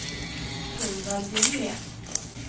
Torvald Ljunggren